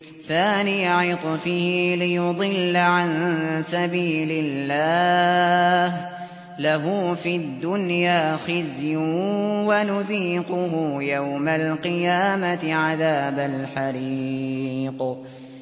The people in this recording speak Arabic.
ثَانِيَ عِطْفِهِ لِيُضِلَّ عَن سَبِيلِ اللَّهِ ۖ لَهُ فِي الدُّنْيَا خِزْيٌ ۖ وَنُذِيقُهُ يَوْمَ الْقِيَامَةِ عَذَابَ الْحَرِيقِ